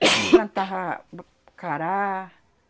Plantava b cará.